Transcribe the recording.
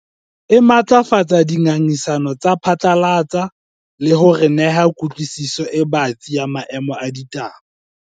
E matlafatsa dingangisano tsa phatlalatsa le ho re neha kutlwisiso e batsi ya maemo a ditaba.